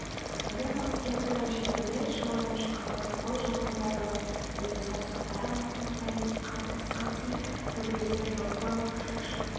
сондай қылмыскердің бірі шілмембет шымырдан шыққан рысқұл жылқайдарұлы еді саусақтары мұп-мұздай тасқа тиіп көбесі жапырылып шып-шып